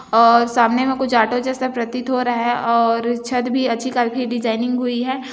और सामने में कुछ ऑटो जैसा प्रतीत हो रहा हैं और छत भी अच्छी खाफी डिजायनिंग हुयी हैं।